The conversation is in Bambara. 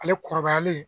Ale kɔrɔbayalen